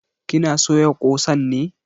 Ki na soya ƙosan ne?